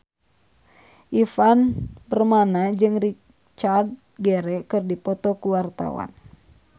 Ivan Permana jeung Richard Gere keur dipoto ku wartawan